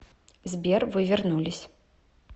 сбер вы вернулись